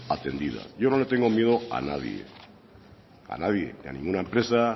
atendida yo no le tengo miedo a nadie a nadie ni a ninguna empresa